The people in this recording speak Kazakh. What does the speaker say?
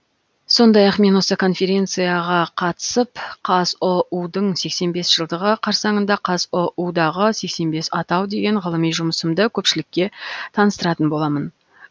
сондай ақ мен осы конференцияға қатысып қазұу дың сексен бес жылдығы қарсаңында қазұу дағы сексен бес атау деген ғылыми жұмысымды көпшілікке таныстыратын боламын